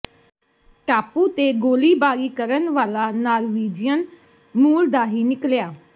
ਟਾਪੂ ਤੇ ਗੋਲੀਬਾਰੀ ਕਰਨ ਵਾਲਾ ਨਾਰਵੀਜਿਅਨ ਮੂਲ ਦਾ ਹੀ ਨਿਕਲਿਆ